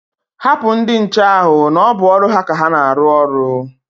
Hapụ ndi nche ahụ na o bụ ọrụ ha ka ha na-arụ ọrụ.